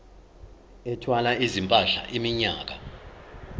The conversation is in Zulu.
ethwala izimpahla iminyaka